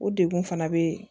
O degun fana be yen